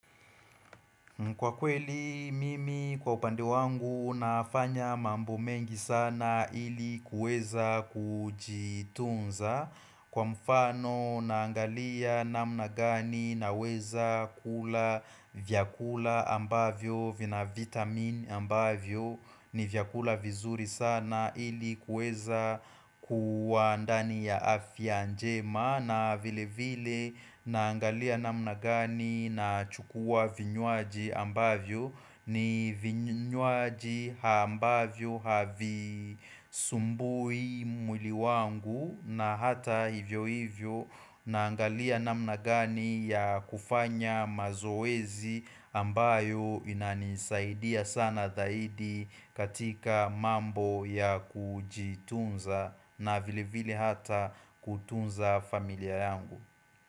Kwa kweli mimi kwa upande wangu nafanya mambo mengi sana ili kueza kujitunza. Kwa mfano naangalia namna ngani naweza kula vyakula ambavyo vina vitamin ambavyo ni vyakula vizuri sana ili kueza kuwa ndani ya afya njema. Na vile vile naangalia namna ngani na chukua vinyuaji ambavyo ni vinyuaji ambavyo havisumbui mwili wangu na hata hivyo hivyo naangalia namna ngani ya kufanya mazoezi ambayo inanisaidia sana zaidi katika mambo ya kujitunza na vile vile hata kutunza familia yangu.